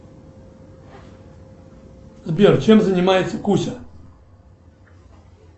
сбер чем занимается куся